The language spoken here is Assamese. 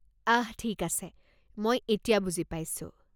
আহ ঠিক আছে, মই এতিয়া বুজি পাইছোঁ।